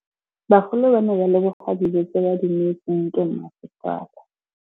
Bagolo ba ne ba leboga dijô tse ba do neêtswe ke masepala.